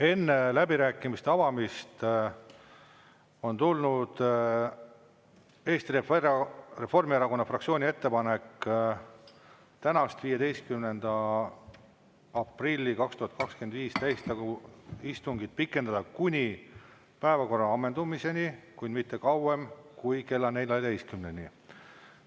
Enne läbirääkimiste avamist on tulnud Eesti Reformierakonna fraktsiooni ettepanek tänast, 15. aprilli 2025. aasta täiskogu istungit pikendada kuni päevakorra ammendumiseni, kuid mitte kauem kui kella 14-ni.